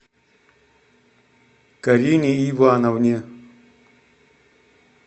карине ивановне